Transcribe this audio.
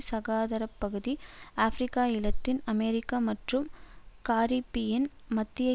சகாராப்பகுதி Africa Latin America மற்றும் Caribbean மத்திய